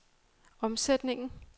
omsætningen